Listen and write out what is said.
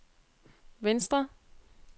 venstre